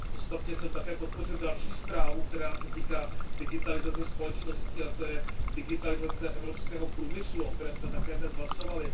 Ostatně jsem také podpořil další zprávu, která se týká digitalizace společnosti, a to je digitalizace evropského průmyslu, o které jsme také dnes hlasovali.